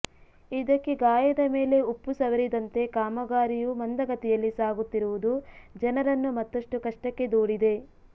ಇದಕ್ಕೆ ಗಾಯದ ಮೇಲೆ ಉಪ್ಪು ಸವರಿದಂತೆ ಕಾಮಗಾರಿಯೂ ಮಂದಗತಿಯಲ್ಲಿ ಸಾಗುತ್ತಿರುವುದು ಜನರನ್ನು ಮತ್ತಷ್ಟು ಕಷ್ಟಕ್ಕೆ ದೂಡಿದೆ